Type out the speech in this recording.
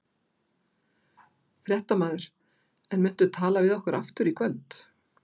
Fréttamaður: En muntu tala við okkur aftur í kvöld?